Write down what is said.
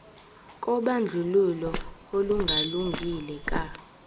kobandlululo olungalungile ka